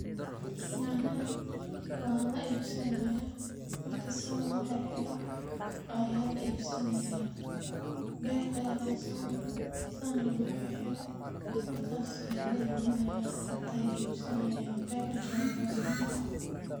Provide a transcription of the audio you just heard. Nyanyadan wa laibsanayaah, marki san loxirxiro ayaa laibsanayaa. Berta ayaa lagasogure , san ayaa loxirxire markas ayaa laibinayaah, dadka ay ibsanayan. Bec jaban aa .